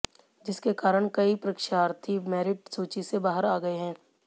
जिसके कारण कई परीक्षार्थी मेरिट सूची से बाहर आ गए हैं